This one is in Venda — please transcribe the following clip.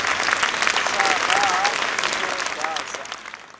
sa raha i ḓo dadza